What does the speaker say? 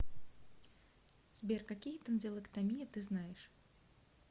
сбер какие тонзиллэктомия ты знаешь